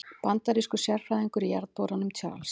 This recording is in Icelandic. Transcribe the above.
Bandarískur sérfræðingur í jarðborunum, Charles